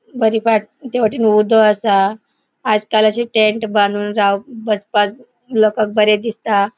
बरी वाट त्या वाटेन उदो असा आजकाल अशे टेंट बानून राव बसपाक लोकाक बरे दिसता.